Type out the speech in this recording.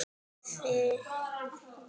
Þegja og taka eftir!